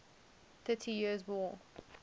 thirty years war